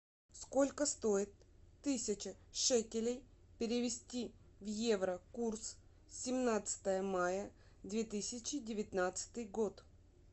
сколько стоит тысяча шекелей перевести в евро курс семнадцатое мая две тысячи девятнадцатый год